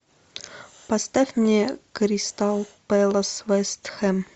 поставь мне кристал пэлас вест хэм